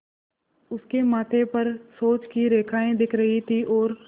उसके माथे पर सोच की रेखाएँ दिख रही थीं और